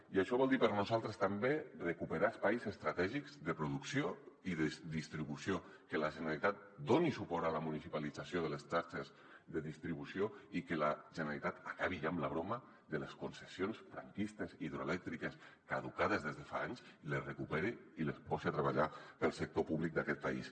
i això vol dir per a nosaltres també recuperar espais estratègics de producció i de distribució que la generalitat doni suport a la municipalització de les xarxes de distribució i que la generalitat acabi ja amb la broma de les concessions franquistes hidroelèctriques caducades des de fa anys les recupere i les pose a treballar per al sector públic d’aquest país